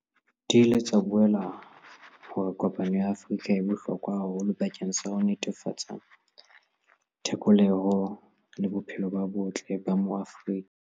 Di ile tsa bolela hore kopano ya Afrika e bohlokwa haholo bakeng sa ho netefatsa thekolohelo le bophelo bo botle ba Maafrika.